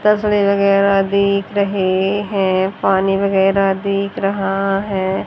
तस्वीर वगैरा दीख रहे हैं पानी वगैरा दीख रहा है।